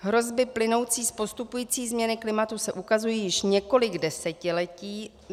Hrozby plynoucí z postupující změny klimatu se ukazují již několik desetiletí.